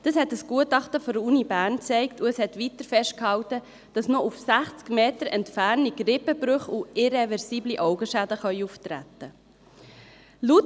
Das hat ein Gutachten der Universität Bern gezeigt, und es hat weiter festgehalten, dass noch aus 60 Metern Entfernung Rippenbrüche und irreversible Augenschäden auftreten können.